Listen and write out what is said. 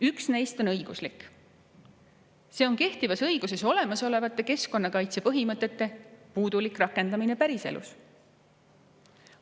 Üks neist on õiguslik: kehtivas õiguses olemasolevate keskkonnakaitse põhimõtete puudulik rakendamine päriselus.